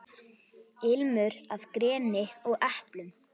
Ilmur af greni og eplum.